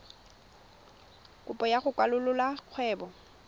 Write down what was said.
kopo ya go kwalolola kgwebo